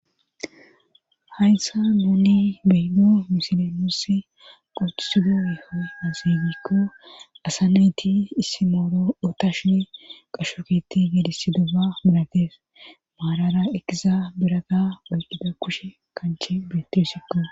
Hḥayssa mooney beido misilemossi qocisido ehozieygikko asa nayti issi mooro otashine qashoketi gedisi doba mirates maarara ekiza biraga oyqida kushe kanche beetidosikkoǰ.